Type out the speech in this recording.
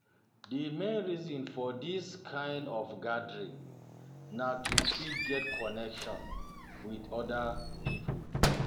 Di main reason for dis um kind of gathering um na to fit get connection um with oda pipo